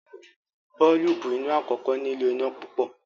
boolubu iná àkókò nilo iná pupọ.